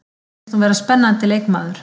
Mér finnst hún vera spennandi leikmaður.